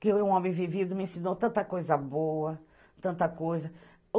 que eu, um homem vivido, me ensinou tanta coisa boa, tanta coisa.